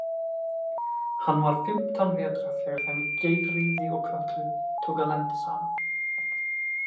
Hann var fimmtán vetra þegar þeim Geirríði og Kötlu tók að lenda saman.